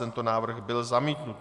Tento návrh byl zamítnut.